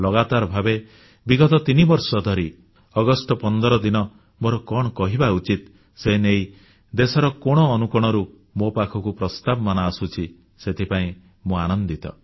ଲଗାତାର ଭାବେ ବିଗତ ତିନିବର୍ଷ ଧରି ଅଗଷ୍ଟ 15 ଦିନ ମୋର କଣ କହିବା ଉଚିତ ସେ ନେଇ ଦେଶର କୋଣ ଅନୁକୋଣରୁ ମୋ ପାଖକୁ ପ୍ରସ୍ତାବମାନ ଆସୁଛି ସେଥିପାଇଁ ମୁଁ ଆନନ୍ଦିତ